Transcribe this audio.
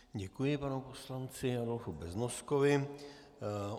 Děkuji panu poslanci Adolfu Beznoskovi.